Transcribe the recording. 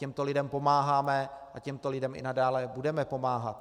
Těmto lidem pomáháme a těmto lidem i nadále budeme pomáhat.